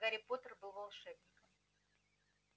гарри поттер был волшебником